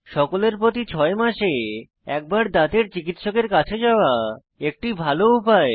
সকলের প্রতি ছয় মাসে একবার দাঁতের চিকিত্সকের কাছে যাওয়া একটি ভাল উপায়